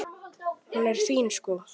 Hún er fín, sko.